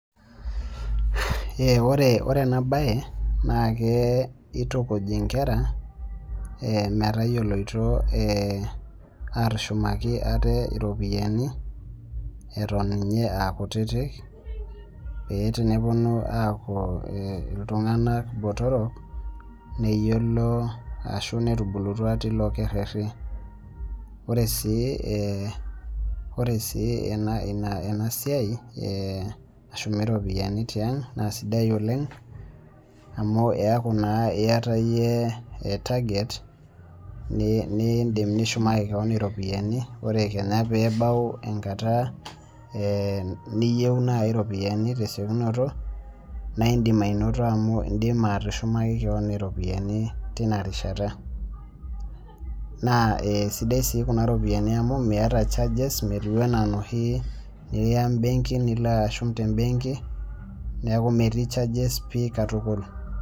Ore enabae nake kitukuj inkera metayioloito atushumaki ate iropiyiani, eton iye akutitik, pee teneponu aku iltung'anak botorok, neyiolo ashu netubulutua tilo kerrerri. Ore si enasiai nashumi ropiyiani tiang, na sidai oleng amu eeku naa iyata yie target nidim nishumaki keon iropiyiani, ore kenya pebau enkata niyieu nai iropiyiani tesiokinoto, na idim ainoto amu idima atushumaki keon iropiyiani tinarishata. Naa sidai si kuna ropiyiani amu miata charges metiu enaa noshi niya benkin nilo ashum tebenki, neeku metii charges pi katukul.